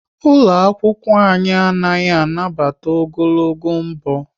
Ụlọ akwụkwọ anyị anaghị anabata ogologo mbọ